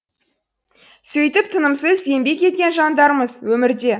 сөйтіп тынымсыз еңбек еткен жандармыз өмірде